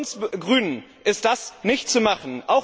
Mit uns Grünen ist das nicht zu machen!